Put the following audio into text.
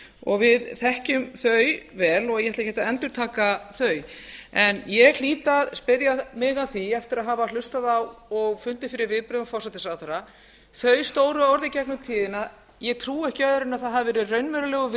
og við þekkjum þau vel og ég ætla ekkert að endurtaka þau en ég hlýt að spyrja mig að því eftir að hafa hlustað á og fundið fyrir viðbrögðum forsætisráðherra þau stóru orð í gegnum tíðina ég trúi ekki öðru en að það hafi verið raunverulegur